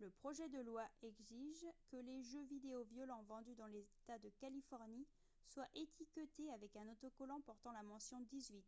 le projet de loi exige que les jeux vidéo violents vendus dans l'état de californie soient étiquetés avec un autocollant portant la mention « 18 »